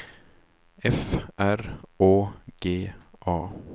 F R Å G A